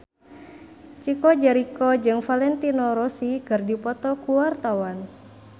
Chico Jericho jeung Valentino Rossi keur dipoto ku wartawan